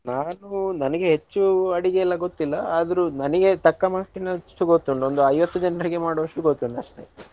ನಾನು ನನಗೆ ಹೆಚ್ಚು ಅಡಿಗೆ ಎಲ್ಲಾ ಗೊತ್ತಿಲ್ಲ ಆದ್ರೂ ನನಗೆ ತಕ್ಕ ಮಟ್ಟಿನಷ್ಟು ಗೊತ್ತುಂಟು ಒಂದು ಐವತ್ತು ಜನರಿಗೆ ಮಾಡುವಷ್ಟು ಗೊತ್ತುಂಟು ಅಷ್ಟೆ.